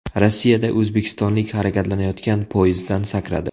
Rossiyada o‘zbekistonlik harakatlanayotgan poyezddan sakradi.